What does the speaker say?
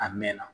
A mɛn na